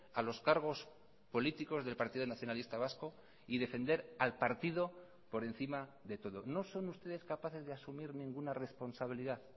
a los cargos políticos del partido nacionalista vasco y defender al partido por encima de todo no son ustedes capaces de asumir ninguna responsabilidad